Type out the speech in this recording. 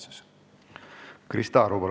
Krista Aru, palun!